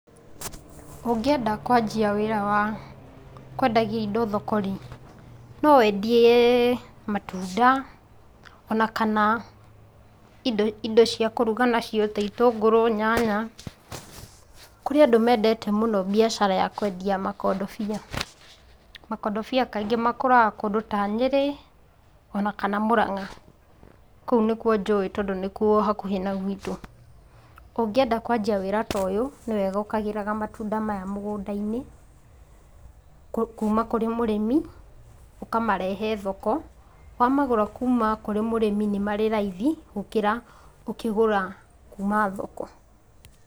Ũngĩenda kwanjia wĩra wa kwendagia indo thoko-rĩ, no wendie matunda, ona kana indo cia kũruga nacio taitũnguru, nyanya. Kũrĩ andũ mendete mũno mbiacara ya kwendia makondobia. Makondobia kaingĩ makũraga kũndũ ta Nyĩrĩ, ona kana Mũrang'a. Kũu nĩkuo njũĩ tondũ nĩkuo hakuhĩ na gũitũ. Ũngĩenda kwanjia wĩra toyũ, nĩweka ũkagĩra matunda mũgũnda-inĩ, kuuma kũrĩ mũrĩmi ũkamarehe thoko. Wamagũra kuuma kwĩmũrĩmi nĩ marĩ raithi gũkĩra kũgũra kuuma thoko.